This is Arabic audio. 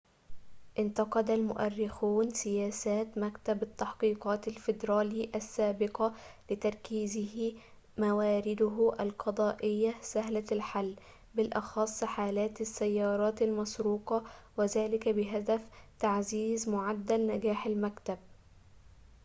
انتقد المؤرخون سياسات مكتب التحقيقات الفدرالي السابقة لتركيزه موارده على القضايا سهلة الحل وبالأخص حالات السيارات المسروقة وذلك بهدف تعزيز معدل نجاح المكتب